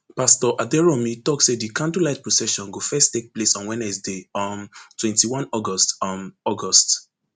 pastor aderounmu tok say di candlelight procession go first take place on wednesday um twenty-one august um august